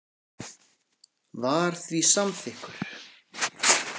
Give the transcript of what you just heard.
var því samþykkur.